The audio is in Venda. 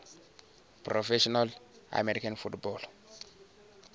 professional american football